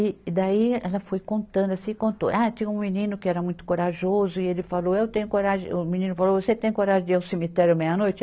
E e daí ela foi contando assim, contou, ah, tinha um menino que era muito corajoso e ele falou, eu tenho coragem, o menino falou, você tem coragem de ir ao cemitério meia-noite?